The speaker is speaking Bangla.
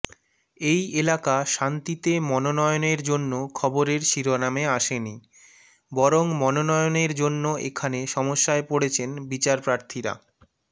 এই এলাকা শান্তিতে মনোনয়নের জন্য খবরের শিরোনামে আসেনি বরং মনোনয়নের জন্য এখানে সমস্যায় পড়েছেন বিচারপ্রার্থীরা